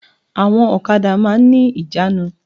Àwọn òkadà máa n ní ìjánu